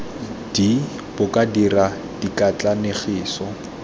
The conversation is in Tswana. d bo ka dira dikatlanegiso